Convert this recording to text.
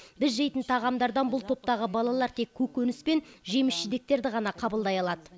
біз жейтін тағамдардан бұл топтағы балалар тек көкөніс пен жеміс жидектерді ғана қабылдай алады